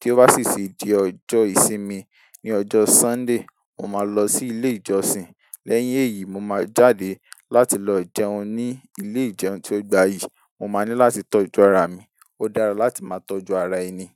Kí ó bá sì ṣe di ọjọ́ ìsinmi, ní ọjọ́ Sọ́ńdè, mo máa lọ sí ilé ìjọsìn. Lẹ́yìn èyí, mo máa jáde láti lọ jẹun ní ilé ìjẹun tí ó gbayì. Mo máa ní láti tọ́jú ara mi. Ó dára láti máa tọ́jú ara ẹni.